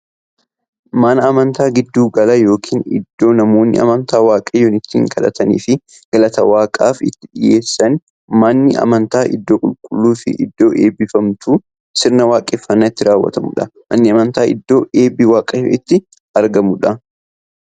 Manni amantaa giddu gala yookiin iddoo namoonni amantaa waaqayyoon itti kadhataniifii galata waaqaaf itti dhiyeessaniidha. Manni amantaa iddoo qulqulluufi iddoo eebbifamtuu, sirna waaqeffannaa itti raawwatuudha. Manni amantaa iddoo eebbi waaqayyoo itti argamuudha.